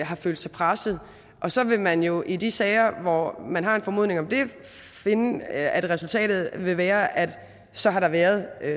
har følt sig presset og så vil man jo i de sager hvor man har en formodning om det finde at resultatet vil være at så har der været